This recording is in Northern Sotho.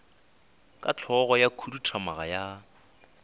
ka hlogo ya khuduthamaga ya